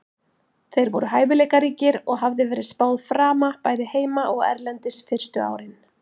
Þeir voru hæfileikaríkir og hafði verið spáð frama bæði heima og erlendis fyrstu árin.